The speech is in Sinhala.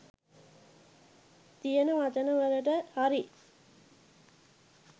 තියෙන වචන වලට හරි